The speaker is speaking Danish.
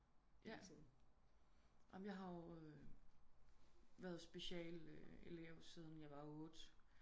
Ja jeg har jo været special elev siden jeg var 8